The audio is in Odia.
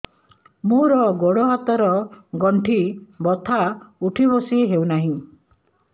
ମୋର ଗୋଡ଼ ହାତ ର ଗଣ୍ଠି ବଥା ଉଠି ବସି ହେଉନାହିଁ